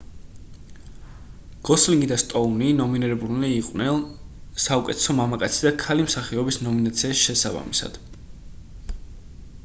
გოსლინგი და სტოუნი ნომინირებულნი იყვნენ საუკეთესო მამაკაცი და ქალი მსახიობის ნომინაციაში შესაბამისად